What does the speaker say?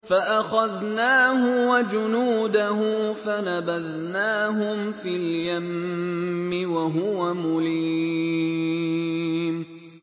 فَأَخَذْنَاهُ وَجُنُودَهُ فَنَبَذْنَاهُمْ فِي الْيَمِّ وَهُوَ مُلِيمٌ